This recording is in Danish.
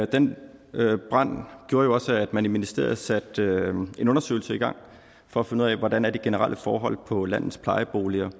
den brand gjorde jo også at man i ministeriet satte en undersøgelse i gang for at finde ud af hvordan de generelle forhold er på landets plejeboliger